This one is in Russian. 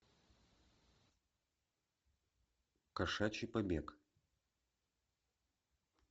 кошачий побег